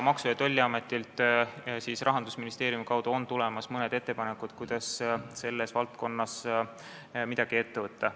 Maksu- ja Tolliametilt on Rahandusministeeriumi kaudu tulemas mõned ettepanekud, kuidas selles valdkonnas midagi ette võtta.